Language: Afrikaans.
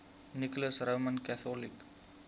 nicholas roman catholic